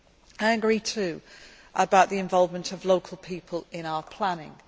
I agree, too, about the involvement of local people in our planning.